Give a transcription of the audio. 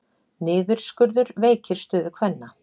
Niðurskurður veikir stöðu kvenna